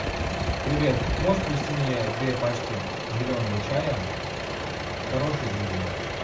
привет можешь привезти мне две пачки зеленого чая хорошие друзья